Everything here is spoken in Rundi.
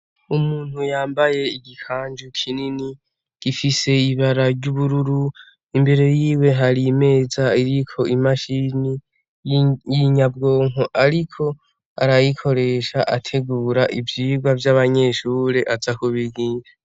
Umuntu yambaye igikanju kinini gifise ibara ry'ubururu imbere yiwe hari imeza, ariko imashini yinyabwonko, ariko arayikoresha ategura ivyirwa vy'abanyeshure aza kubiginja.